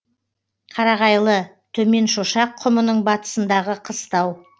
қарағайлы төменшошақ құмының батысындағы қыстау